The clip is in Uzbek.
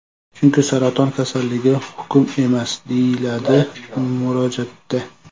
Chunki saraton kasalligi hukm emas”, deyiladi murojaatda.